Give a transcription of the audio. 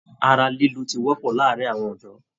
Ara lilu tí wọpọ láàárín àwọn ọdọ.